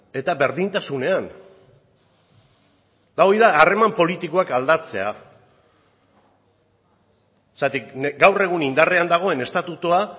eta berdintasunean eta hori da harreman politikoak aldatzea zergatik gaur egun indarrean dagoen estatutua